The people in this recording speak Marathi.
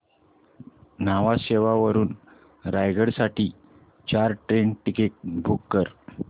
न्हावा शेवा वरून रायगड साठी चार ट्रेन टिकीट्स बुक कर